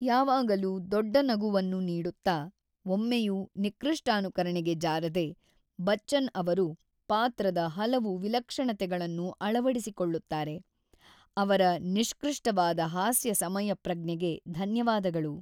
ಯಾವಾಗಲೂ ದೊಡ್ಡ ನಗುವನ್ನು ನೀಡುತ್ತಾ, ಒಮ್ಮೆಯೂ ನಿಕೃಷ್ಟಾನುಕರಣೆಗೆ ಜಾರದೆ, ಬಚ್ಚನ್ ಅವರು ಪಾತ್ರದ ಹಲವು ವಿಲಕ್ಷಣತೆಗಳನ್ನು ಅಳವಡಿಸಿಕೊಳ್ಳುತ್ತಾರೆ, ಅವರ ನಿಷ್ಕೃಷ್ಟವಾದ ಹಾಸ್ಯ ಸಮಯಪ್ರಜ್ಞೆಗೆ ಧನ್ಯವಾದಗಳು.